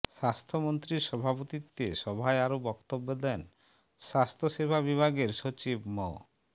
স্বাস্থ্যমন্ত্রীর সভাপতিত্বে সভায় আরো বক্তব্য দেন স্বাস্থ্যসেবা বিভাগের সচিব মো